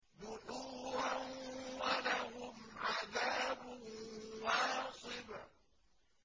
دُحُورًا ۖ وَلَهُمْ عَذَابٌ وَاصِبٌ